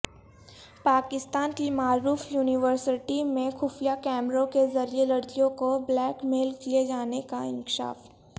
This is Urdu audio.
پاکستان کی معروف یونیورسٹی میں خفیہ کیمروں کےذریعےلڑکیوں کو بلیک میل کیے جانے کا انکشاف